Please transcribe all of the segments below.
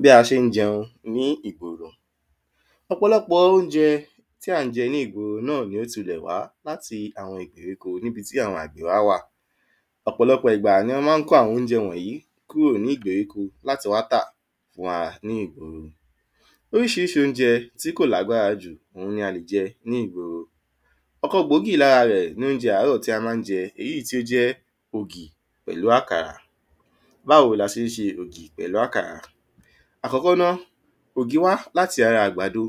Bí a ṣé ń jẹun ní ìgboro Ọ̀pọlọpọ̀ óunjẹ tí à ń jẹun ní ìgboro náà ni ó tilẹ̀ wá àwọn ìgbèríko n'íbi tí àwọn gbẹ̀ wá wà. Ọ̀pọlọpọ̀ ìgbà ni wọ́n má ń kó àwọn óunjẹ wọ̀nyí kúrò ní ìgbèríko l’áti wá tà fún wa ní ìgboro. Oríṣiríṣi óunjẹ tí kò l’ágbára jù ni à ń jẹ ní ìgboro. Ọ̀kan gbòógì l'ára rẹ̀ ni óunjẹ àárọ̀ tí a má ń jẹ èyí t’ó jẹ́ ògì pẹ̀lú àkàrà. Báwo ni a ṣé ń ṣe ògì pẹ̀lú àkàrà? Àkọ́kọ́ ná, ògì wá l'áti ara àgbàdo.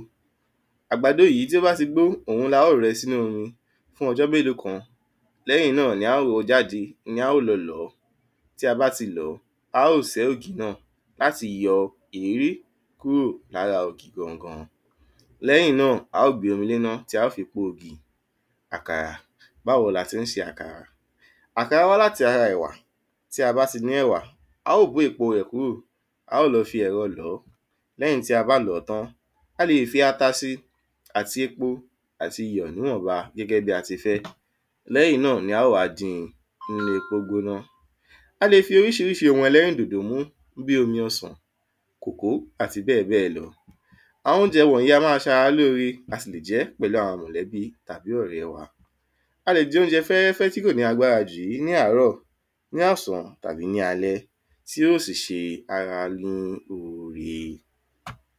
Àgbàdo yí tí ó bá ti gbo òun l’a ó rẹ s'ínú omi fún ọjọ́ méló kan. L'ẹ́yìn náà ni a ó rọ jáde, ni a ó lọ lọ̀ọ́. Tí a bá ti lọ̀ọ́, a ó sẹ́ ògì náà a sì yọ ẹ̀ẹ́rí kúrò l'ára ògì gangan. L'ẹ́yìn náà, a ó gbé omi l'éná tí a ó fi po ògì. Àkàrà Báwo l'ati ń ṣe àkàrà? Àkàrà wá l’áti ara ẹ̀wà. Tí a bá ti ní ẹ̀wà, a ó bó èpo rẹ̀ kúrò A ó lọ fi ̣̀rọ lọ̀ọ́ L'ẹ́yìn tí a bá lọ̀ọ́ tán, a le è fi ata si. L'ẹ́yìn tí a bá lọ̀ọ́ tán, a le è fi ata si, àti epo, àti iyọ̀ n'íwọ̀nbá gẹ́gẹ́ bí a ti fẹ́. L'ẹ́yìn náà ni a ó wá din n’ínú epo gbóná. A le fi oríṣiríṣi ohun ẹlẹ́rìndòdò mú bí omi ọsànkòkó àti bẹ́ẹ̀ bẹ́ẹ̀ lo. Àwọn óunjẹ wọ̀nyí a má a ṣ'ara lóorẹ a sì jẹ́ pẹ̀lú àwọn mòlẹ́bí àbi ọ̀rẹ́ wa. A lè jẹ óunjẹ fẹ́rẹ́fé tí kò ní agbára jù yí ní àárọ̀, ní ọ̀sán tàbí ní alẹ́. Tí ó sì ṣe ara l’ó ore.